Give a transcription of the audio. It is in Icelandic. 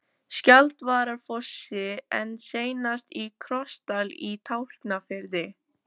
Skjaldvararfossi en seinast í Krossdal í Tálknafirði.